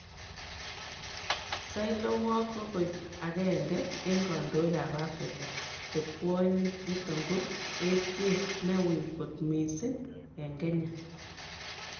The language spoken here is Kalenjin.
Sahle-Work ko koit ko aenge en Kondoig ap Africa che kwonyik, niton ko etiet ne ui kot mising en Kenya,.